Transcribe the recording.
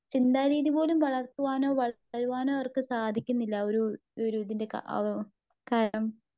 ചിന്താ രീതിപോലും വളർത്തുവാനോ? വളരുവാനോ അവർക്ക് സാധിക്കുന്നില്ല. ആ ഒരുഇതിന്റെ കാരണം.